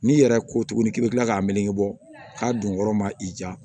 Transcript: N'i yɛrɛ ko tuguni k'i bɛ kila k'a melege bɔ k'a don yɔrɔ ma i ja